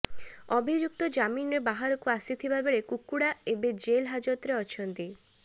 ଅଭିଯୁକ୍ତ ଜାମିନରେ ବାହାରକୁ ଆସିଥିବା ବେଳେ କୁକୁଡ଼ା ଏବେ ଜେଲ୍ ହାଜତରେ ଅଛନ୍ତି